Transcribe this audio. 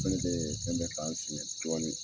O mana kɛ, fɛn bɛ kan fiɲɛn dɔɔnin.